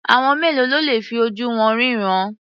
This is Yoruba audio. Àwọn mélòó ló le fi ojú wọn ríran?